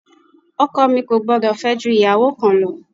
Ọkọ mi kò gbúdọ̀ fẹ́ ju ìyàwó kan lọ.